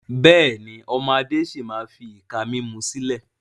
Bẹ́ẹ̀ni, ọmọ Adé si maa fi ìka mímú sílẹ̀